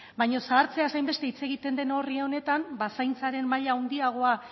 baina zahartzeaz hainbeste hitz egiten den horri honetan ba zaintzaren maila handiagoa